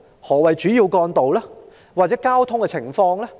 抑或是指票站外的交通情況？